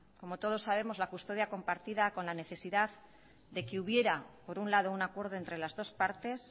como todos sabemos la custodia compartida con la necesidad de que hubiera por un lado un acuerdo entre las dos partes